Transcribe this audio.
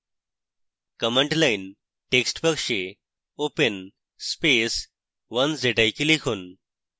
command line text box open space 1zik লিখুন